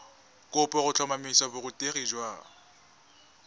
kopo go tlhotlhomisa borutegi jwa